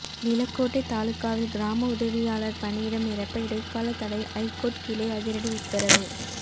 நிலக்கோட்டை தாலுகாவில் கிராம உதவியாளர் பணியிடம் நிரப்ப இடைக்கால தடை ஐகோர்ட் கிளை அதிரடி உத்தரவு